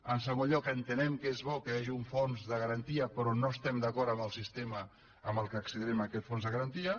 en segon lloc entenem que és bo que hi hagi un fons de garantia però no estem d’acord en el sistema en què accedirem a aquest fons de garantia